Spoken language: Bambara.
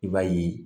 I b'a ye